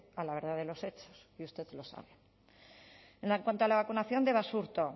a la verdad de los hechos y usted lo sabe en cuanto a la vacunación de basurto